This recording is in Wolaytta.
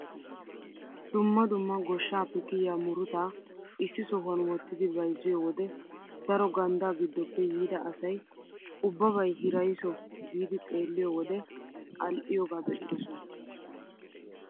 Dumma dumma goshshaape kiyiyaa murutaa issi sohuwaan wottidi bayzziyoo wode daro ganddaa giddoppe yiida asay ubbabay hiraysso giidi xeelliyoo wode al"iyooga be'idosona.